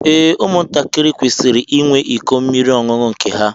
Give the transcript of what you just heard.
Ee, ụmụ ntakịrị kwesịrị ịnwe ịkọ mmiri ọṅụṅụ nke ha.